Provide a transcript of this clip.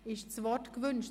Wird das Wort gewünscht?